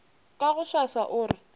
ka go swaswa o re